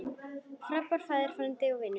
Frábær faðir, frændi og vinur.